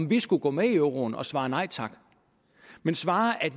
vi skulle gå med i euroen at svare nej tak men svare at